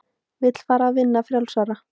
Vill fara að vinna frjálsara.